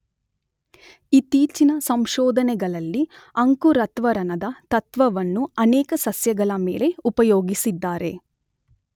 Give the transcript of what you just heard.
ಇತ್ತೀಚಿನ ಸಂಶೋಧನೆಗಳಲ್ಲಿ ಅಂಕುರತ್ವರಣದ ತತ್ವವನ್ನು ಅನೇಕ ಸಸ್ಯಗಳ ಮೇಲೆ ಉಪಯೋಗಿಸಿದ್ದಾರೆ.